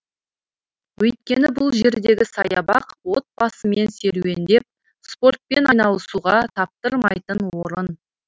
өйткені бұл жердегі саябақ отбасымен серуендеп спортпен айналысуға таптырмайтын орын